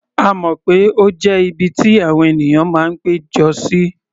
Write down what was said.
A mọ̀ pé ó jẹ́ ibi tí àwọn ènìyàn máa ń pé jọ sí.